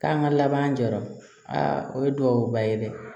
K'an ka laban jɔyɔrɔ o ye duwawuba ye dɛ